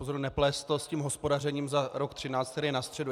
Pozor, neplést to s hospodařením za rok 2013, který je na středu!